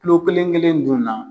Kilo kelen kelen dun na